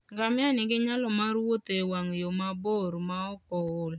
Ngamia nigi nyalo mar wuotho e wang' yo mabor maok ool.